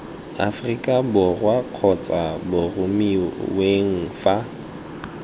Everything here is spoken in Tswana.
aforika borwa kgotsa boromiweng fa